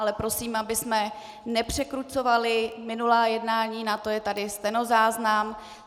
Ale prosím, abychom nepřekrucovali minulá jednání, na to je tady stenozáznam.